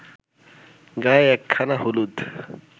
গায়ে একখানা হলুদ